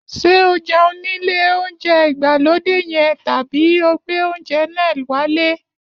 Ṣé o jẹun nílé oúnjẹ ìgbàlódé yẹn tàbí ó gbé oúnjẹ náà wálé?